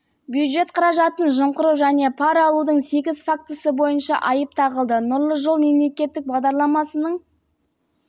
аясында жалға берілетін тұрғын үй құрылысы үшін миллион теңгенің жеті парасы алынды бишімбаев орнатқан жасырын